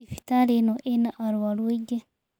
Thibitarĩ ĩno ĩna arũaru aingĩ.